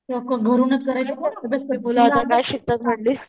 ते अक्ख घरूनच करायच कोण अभ्यास करतय?